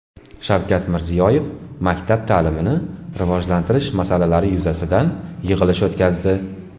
Shavkat Mirziyoyev maktab ta’limini rivojlantirish masalalari yuzasidan yig‘ilish o‘tkazdi.